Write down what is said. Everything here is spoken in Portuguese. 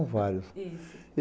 São vários. Isso.